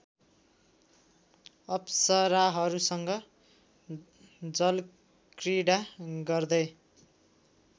अप्सराहरूसँग जलक्रीडा गर्दै